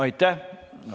Aitäh!